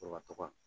Sɔrɔ